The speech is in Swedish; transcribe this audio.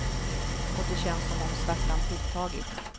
Och det känns som om svärtan tilltagit.